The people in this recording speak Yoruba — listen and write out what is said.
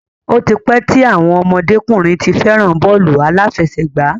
Ó ti pẹ́ tí àwọn ọmọdé-kùnrin ti fẹ́ràn bọ́ọ̀lù aláfẹsẹ̀gbá.